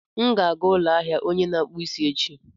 M ga-aga ụlọ ahịa onye na-akpụ isi echi.